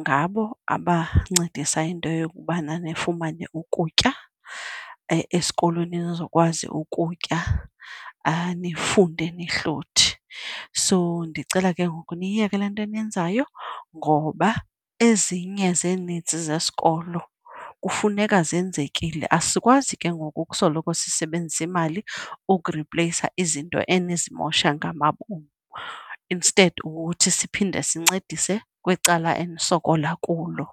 ngabo abancedisa into yokubana nifumane ukutya, esikolweni nizokwazi ukutya nifunde nihluthi. So ndicela ke ngoku niyiyeke le nto eniyenzayo ngoba ezinye zee-needs zesikolo kufuneka zenzekile. Asikwazi ke ngoku ukusoloko sisebenzisa imali ukuripleyisa izinto enizimosha ngamabom, instead kukuthi siphinde sincedise kweli cala enisokola kulo.